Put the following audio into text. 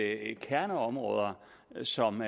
at kerneområder som